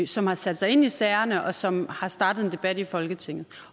som har sat sig ind i sagerne og som har startet en debat i folketinget